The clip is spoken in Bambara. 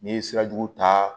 N'i ye sira jugu ta